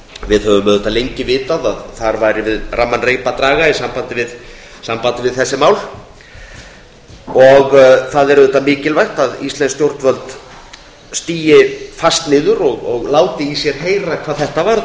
við höfum auðvitað lengi vitað að þar væri við ramman reip að draga í sambandi við þessi mál það er mikilvægt að íslensk stjórnvöld stigi fast niður og láti í sér heyra hvað þetta varðar ég